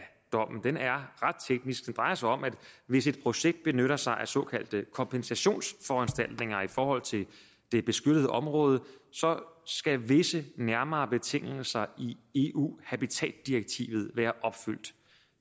ret teknisk den drejer sig om at hvis et projekt benytter sig af såkaldte kompensationsforanstaltninger i forhold til det beskyttede område så skal visse nærmere betingelser i eu habitatdirektivet være opfyldt